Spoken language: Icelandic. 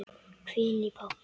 hvín í pabba.